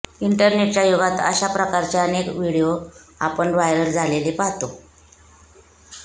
इंटरनेटच्या युगात अशा प्रकारचे अनेक व्हिडिओ आपण व्हायरल झालेले पाहतो